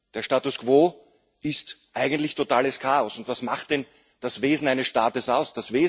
Der Status quo ist eigentlich totales Chaos, und was macht denn das Wesen eines Staates aus?